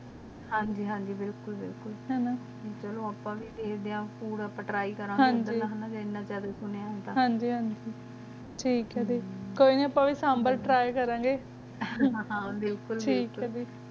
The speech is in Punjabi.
ਹਨ ਗ ਹਨ ਗ ਬਿਲਕੁਲ ਅਪ੍ਪਨ ਵੀ ਟ੍ਰੀ ਕਰ ਗੀ ਹਸਨਾ ਵੀ ਕੀਨਾ ਮਜੀ ਦਾ ਕੋਈ ਨਾ ਅਪ੍ਪਨ ਵੀ ਸੰਬਲੇ ਤ੍ਟ੍ਰੀ ਕਰਨ ਗੀ ਹਮਮ ਹਨ ਜੀ ਹਨ ਜੀ ਬਿਲਕੁਲ